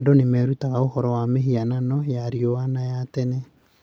Andũ nĩ merutaga ũhoro wa mĩhianano ya rĩu na ya tene.